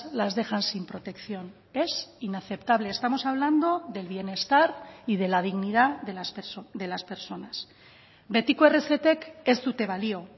las dejan sin protección es inaceptable estamos hablando del bienestar y de la dignidad de las personas betiko errezetek ez dute balio